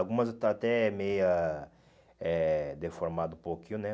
Algumas eu estou até meia eh deformado um pouquinho, né?